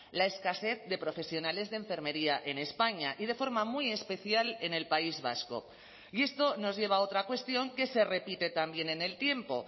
la escasez de profesionales de enfermería en españa y de forma muy especial en el país vasco y esto nos lleva a otra cuestión que se repite también en el tiempo